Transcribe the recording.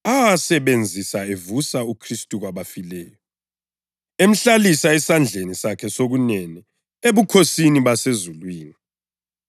lamandla akhe amakhulu angelakulinganiswa kithi thina esikholwayo. Amandla lawo afana lokusebenza kwamandla akhe amakhulu